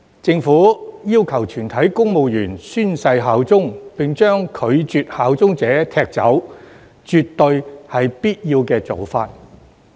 政府要求全體公務員宣誓效忠，並將拒絕效忠者踢走，絕對是必要的做法。